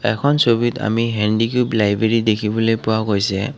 এখন ছবিত আমি হেন্দিকিওপ লাইব্ৰেৰী দেখিবলৈ পোৱা গৈছে।